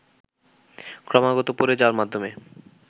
ক্রমাগত পড়ে যাওয়ার মাধ্যমে